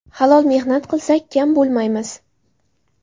Halol mehnat qilsak, kam bo‘lmaymiz.